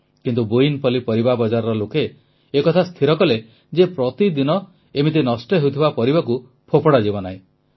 କିନ୍ତୁ ବୋୟିନପଲ୍ଲୀ ପରିବା ବଜାରର ଲୋକେ ଏହା ସ୍ଥିର କଲେ ଯେ ପ୍ରତିଦିନ ଏମିତି ନଷ୍ଟ ହେଉଥିବା ପରିବାକୁ ଫୋପଡ଼ା ଯିବ ନାହିଁ